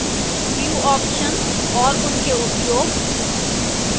view options और उनके उपयोग